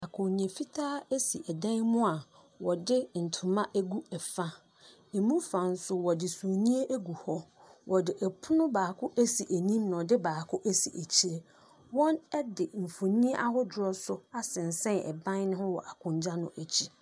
Akonnwa fitaa si dan mu a wɔde ntoma agu fa. Ɛmu fa nso wɔde sumiiɛ agu hɔ. Wɔde pono baako asi anim na wɔde baako asi akyire. Wɔde mfonin ahodoɔ nso asensɛn ban no ho wɔ akonnwa no akyi.